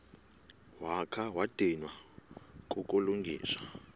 wakha wadinwa kukulungisa